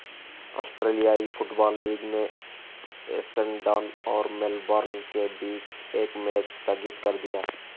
ऑस्ट्रेलियाई football league ने Essendon और मेलबर्न के बीच एक मैच स्थगित कर दिया